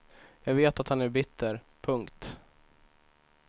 Jag vet att han är bitter. punkt